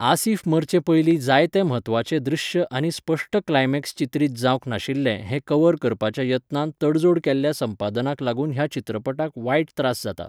आसिफ मरचे पयलीं जायते म्हत्वाचे दृश्य आनी स्पश्ट क्लायमेक्स चित्रीत जावंक नाशिल्लें हें कव्हर करपाच्या यत्नांत तडजोड केल्ल्या संपादनाक लागून ह्या चित्रपटाक वायट त्रास जाता.